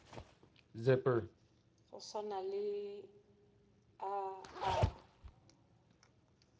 go swana le a a